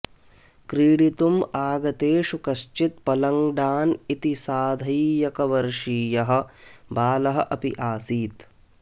क्रीडितुम् आगतेषु कश्चित् पलङ्ग्डान् इति साधैकवर्षीयः बालः अपि आसीत्